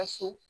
Ka so